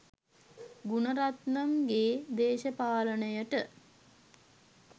ගුණරත්නම් ගේ දේශපාලනය ට